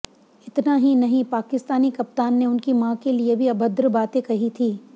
इतना ही नहीं पाकिस्तानी कप्तान ने उनकी मां के लिए भी अभद्र बातें कही थी